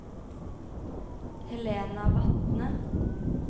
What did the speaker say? Helena Vatne